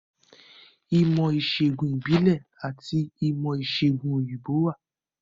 Ìmọ̀-ìṣẹ̀gùn ìbílẹ̀ àti ìmọ̀-ìṣẹ̀gùn òyìnbó wà.